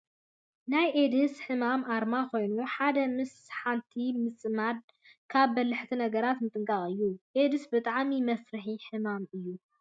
ናይ ኤድስ ሕማም ኣርማ ኮይኑ፣ ሓደ ምስ ሓንቲ ምፅማድ ካብ በላሕቲ ነገራት ምጥንቃቅ እዩ። ኤድስ ብጣዕሚ መፍርሒ ሕማም እዩ ።